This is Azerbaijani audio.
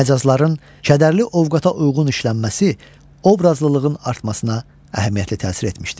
Məcazların kədərli ovqata uyğun işlənməsi obrazlılığın artmasına əhəmiyyətli təsir etmişdir.